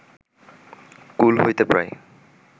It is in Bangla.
কূল হইতে প্রায়